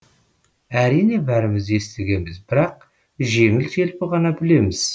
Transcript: әрине бәріміз естігенбіз бірақ жеңіл желпі ғана білеміз